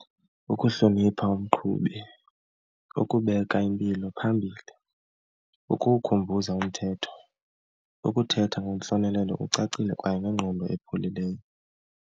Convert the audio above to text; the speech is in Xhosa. Ukuhlonipha umqhubi, ukubeka impilo phambili, ukumkhumbuza umthetho, ukuthetha ngentlonelelo ucacile kwaye ngengqondo epholileyo.